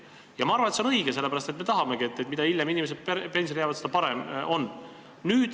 Ja ma arvan, et see on õige, seda me tahamegi – mida hiljem inimesed töölt koju jäävad, seda parem on.